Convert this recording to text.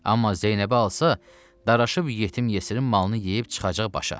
Amma Zeynəbi alsa, daraşıb yetim-yesirin malını yeyib çıxacaq başa.